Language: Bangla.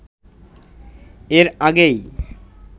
এর আগেই